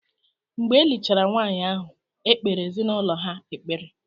Mgbe e lichara nwaanyị ahụ, e kpeere ezinaụlọ ha ekpere.